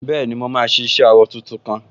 Bẹ́ẹ̀ni, mo máa ṣe iṣẹ awọ tuntun kan